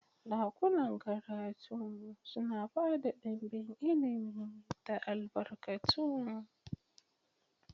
Dakunan karatu suna ba da ɗimbin ilimi da albarkatu.